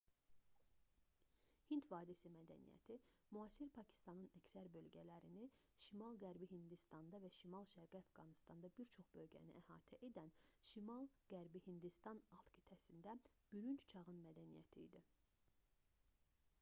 hind vadisi mədəniyyəti müasir pakistanın əksər bölgələrini şimal-qərbi hindistanda və şimal-şərqi əfqanıstanda bir çox bölgəni əhatə edən şimal-qərbi hindistan alt qitəsində bürünc çağın mədəniyyəti idi